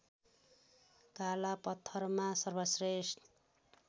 काला पत्थरमा सर्वश्रेष्ठ